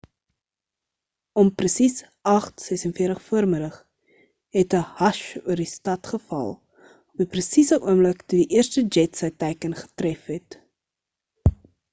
om presies 8:46 vm het 'n hush oor die stad geval op die presiese oomblik toe die eerste jet sy teiken getref het